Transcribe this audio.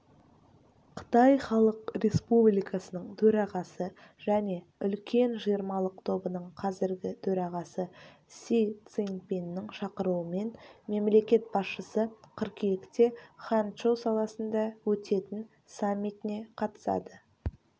қытай халық республикасының төрағасы және үлкен жиырмалық тобының қазіргі төрағасы си цзиньпиннің шақыруымен мемлекет басшысы қыркүйекте ханчжоу қаласында өтетін саммитіне қатысады